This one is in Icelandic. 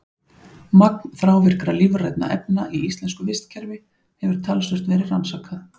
Magn þrávirkra lífrænna efna í íslensku vistkerfi hefur talsvert verið rannsakað.